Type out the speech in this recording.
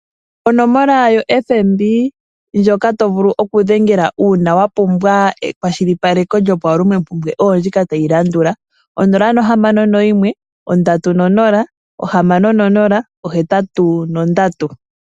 Onomola yoFNB ndjoka to vulu okudhengela uuna wapumbwa ekwashilipaleko lyopawulomompumbwe oyo ndjika tayi landula: 061306083.